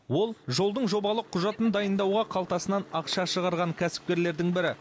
ол жолдың жобалық құжатын дайындауға қалтасынан ақша шығарған кәсіпкерлердің бірі